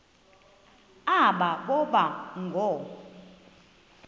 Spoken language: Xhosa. aba boba ngoo